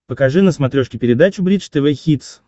покажи на смотрешке передачу бридж тв хитс